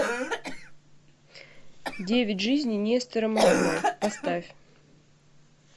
девять жизней нестера махно поставь